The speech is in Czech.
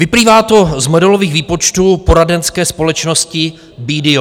Vyplývá to z modelových výpočtů poradenské společnosti BDO.